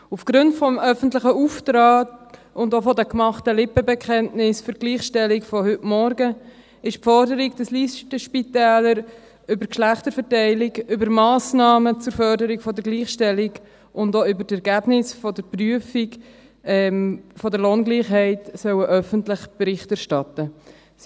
Aus Gründen des öffentlichen Auftrags und den gemachten Lippenbekenntnissen für die Gleichstellung von heute Vormittag, lautet die Forderung, dass die Listenspitäler über die Geschlechterverteilung, über die Massnahmen zur Förderung der Gleichstellung und auch über die Ergebnisse der Prüfung der Lohngleichheit öffentlich Bericht erstatten sollen.